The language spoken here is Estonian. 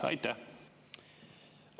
Aitäh!